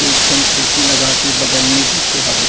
एक झन कुर्सी लगा के बगल में बइठे हावे।